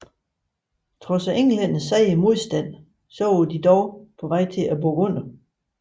Trods Englændernes seje modstand var de dog på vej til at bukke under